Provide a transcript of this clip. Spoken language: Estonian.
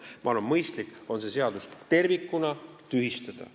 Ma arvan, et mõistlik on see seadus tervikuna tühistada.